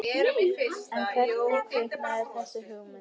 En hvernig kviknaði þessi hugmynd?